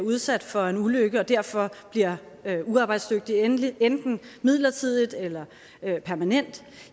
udsat for en ulykke og derfor bliver uarbejdsdygtig enten enten midlertidigt eller permanent